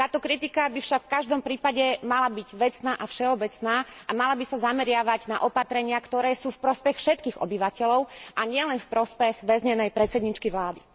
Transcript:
Táto kritika by však v každom prípade mala byť vecná a všeobecná a mala by sa zameriavať na opatrenia, ktoré sú v prospech všetkých obyvateľov a nielen v prospech väznenej predsedníčky vlády.